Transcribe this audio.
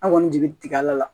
An kɔni jigi tigɛla la